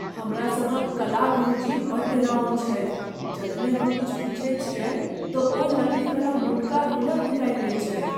हमरा सभक कला गुरुजी बड़ डेराओन छथि। जखने हम किछु पुछैत छियनि तँ ओ लकड़ीवला मोटका रूलर निकालि लैत छथि ।